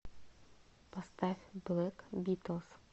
поставь блэк битлс